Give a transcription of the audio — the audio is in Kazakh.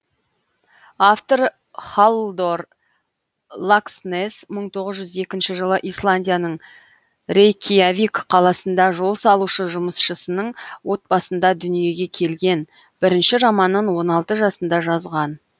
автор халлдор лакснесс мың тоғыз жүз екінші жылы исландияның рейкьявик қаласында жол салушы жұмысшысының отбасында дүниеге келген бірінші романын он алты жасында жазған